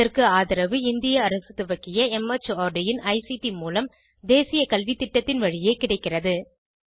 இதற்கு ஆதரவு இந்திய அரசு துவக்கிய மார்ட் இன் ஐசிடி மூலம் தேசிய கல்வித்திட்டத்தின் வழியே கிடைக்கிறது